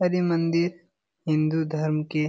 और ये मंदिर हिन्दू धर्म के --